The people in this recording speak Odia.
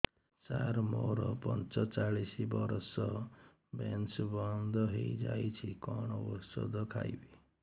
ସାର ମୋର ପଞ୍ଚଚାଳିଶି ବର୍ଷ ମେନ୍ସେସ ବନ୍ଦ ହେଇଯାଇଛି କଣ ଓଷଦ ଖାଇବି